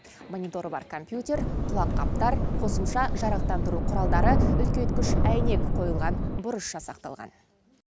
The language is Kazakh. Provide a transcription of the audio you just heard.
мониторы бар компьютер құлаққаптар қосымша жарықтандыру құралдары үлкейткіш әйнек қойылған бұрыш жасақталған